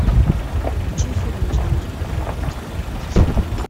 включи фильм жанр неоготика